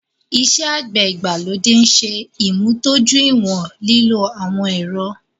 Ìṣẹ̀ àgbẹ̀ igbalodè nṣè imúdọ̀júìwọ̀n lílò awọn èrọ̀